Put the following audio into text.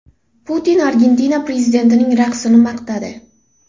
Putin Argentina prezidentining raqsini maqtadi.